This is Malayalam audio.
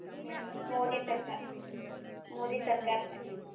മോഡി സർക്കാരിന്റെ